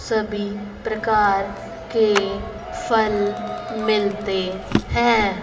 सभी प्रकार के फल मिलते है।